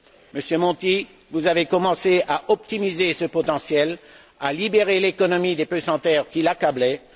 Monsieur Monti, vous avez commencé à optimiser ce potentiel, à libérer l'économie des pesanteurs qui l'accablaient.